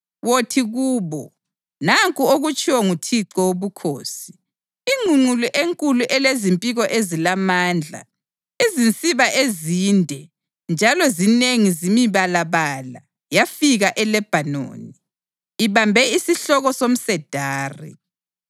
Wothi kubo, ‘Nanku okutshiwo nguThixo Wobukhosi: Ingqungqulu enkulu elezimpiko ezilamandla, izinsiba ezinde njalo zinengi zimibalabala yafika eLebhanoni. Ibambe isihloko somsedari,